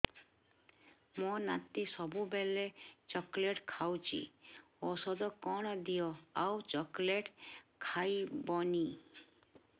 ମୋ ନାତି ସବୁବେଳେ ଚକଲେଟ ଖାଉଛି ଔଷଧ କଣ ଦିଅ ଆଉ ଚକଲେଟ ଖାଇବନି